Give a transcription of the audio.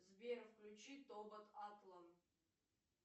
сбер включи тобот атлан